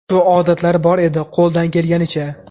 Shu odatlari bor edi, qo‘ldan kelganicha.